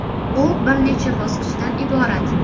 U bir necha bosqichdan iborat.